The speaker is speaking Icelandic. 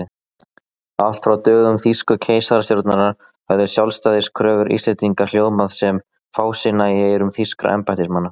Allt frá dögum þýsku keisarastjórnarinnar höfðu sjálfstæðiskröfur Íslendinga hljómað sem fásinna í eyrum þýskra embættismanna.